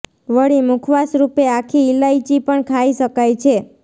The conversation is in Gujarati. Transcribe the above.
વળી મુખવાસ રૂપે આખી ઇલાયચી પણ ખાઇ શકાય છે